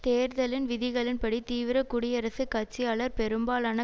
தேர்தலின் விதிகளின்படி தீவிர குடியரசுக் கட்சியாளர் பெரும்பாலான